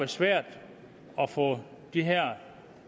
svært at få de her